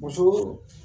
Muso